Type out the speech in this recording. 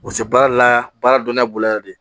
U se baara la baara dɔnnenya bolo yan dɛ